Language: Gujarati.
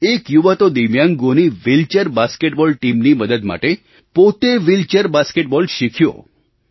એક યુવા તો દિવ્યાંગોની વ્હીલચૅર બાસ્કેટબૉલ ટીમ ની મદદ માટે પોતે વ્હીલચૅર બાસ્કેટબૉલ શીખ્યો